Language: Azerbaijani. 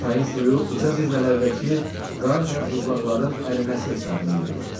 Çayın suyu uca zirvələrdəki qar və buzlaqların əriməsi hesabına yığılır.